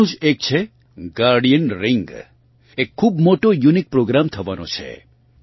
તેમાંનું જ એક છે ગાર્ડિયન રિંગ એક ખૂબ મોટો યુનિક પ્રોગ્રામ થવાનો છે